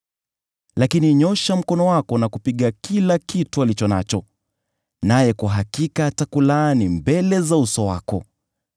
Lakini nyoosha mkono wako na kupiga kila kitu alicho nacho, naye kwa hakika atakulaani mbele za uso wako.”